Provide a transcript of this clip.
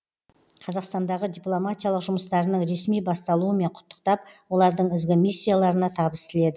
қазақстандағы дипломатиялық жұмыстарының ресми басталуымен құттықтап олардың ізгі миссияларына табыс тіледі